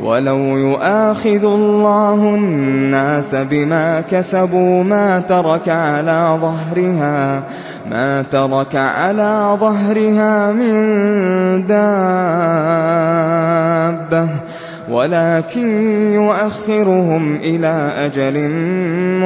وَلَوْ يُؤَاخِذُ اللَّهُ النَّاسَ بِمَا كَسَبُوا مَا تَرَكَ عَلَىٰ ظَهْرِهَا مِن دَابَّةٍ وَلَٰكِن يُؤَخِّرُهُمْ إِلَىٰ أَجَلٍ